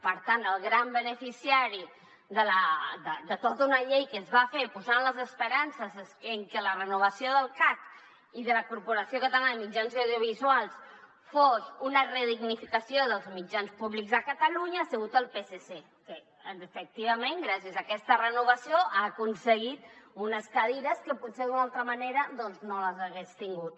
per tant el gran beneficiari de tota una llei que es va fer posant les esperances en que la renovació del cac i de la corporació catalana de mitjans audiovisuals fos una redignificació dels mitjans públics de catalunya ha sigut el psc que efectivament gràcies a aquesta renovació ha aconseguit unes cadires que potser d’una altra manera no les hagués tingut